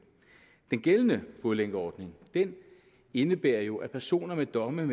den gældende fodlænkeordning indebærer jo at personer med domme